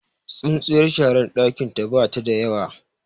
tsintsiyar shara dakin ta bata da yawa